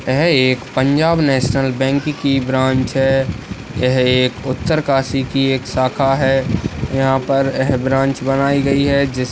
यह एक Punjab National Bank की ब्रांच है यह एक उत्तरकाशी की एक शाखा है यहाँ पर यह ब्रांच बनाई गयी है जिस --